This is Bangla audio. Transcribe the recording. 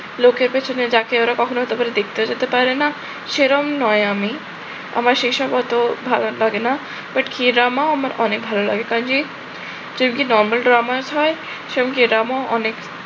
লোকের যাকে ওরা কখনো হতে পারে দেখতেও যেতে পারে না, সেরম নয় আমি। আমার সেসব অতো ভালো লাগে না, but key drama আমার অনেক ভালো লাগে। কাজেই কিউকি normal drama হয়। সেরম কি drama অনেক